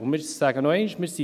Ich sage es noch einmal: